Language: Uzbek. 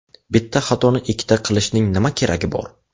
Bitta xatoni ikkita qilishning nima keragi bor?!